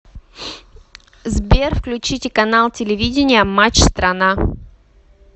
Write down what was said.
сбер включите канал телевидения матч страна